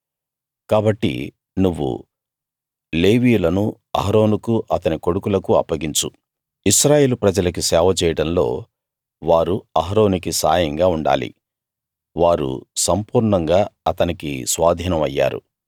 కాబట్టి నువ్వు లేవీయులను అహరోనుకూ అతని కొడుకులకూ అప్పగించు ఇశ్రాయేలు ప్రజలకి సేవ చేయడంలో వారు అహరోనుకి సాయంగా ఉండాలి వారు సంపూర్ణంగా అతనికి స్వాధీనం అయ్యారు